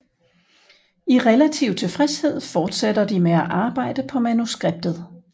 I relativ tilfredshed fortsætter de med at arbejde på manuskriptet